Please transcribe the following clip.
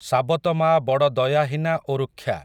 ସାବତମାଆ ବଡ଼ ଦୟାହୀନା ଓ ରୁକ୍ଷା ।